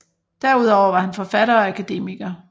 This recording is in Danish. Derudover var han forfatter og akademiker